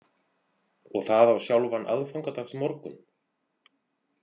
Og það á sjálfan aðfangadagsmorgun?